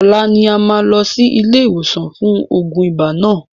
Ọlá ni a máa lọ sí ilé ìwòsàn fún oògùn ibà náà.